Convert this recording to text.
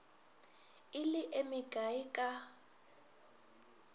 e le e mekae ka